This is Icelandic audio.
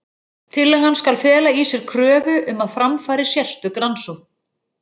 Tillagan skal fela í sér kröfu um að fram fari sérstök rannsókn.